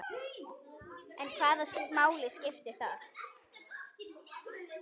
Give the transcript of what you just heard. En hvaða máli skiptir það?